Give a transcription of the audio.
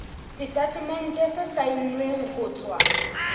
setatemente se saennweng ho tswa